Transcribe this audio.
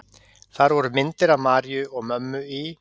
Þar voru myndir af Maríu og mömmu í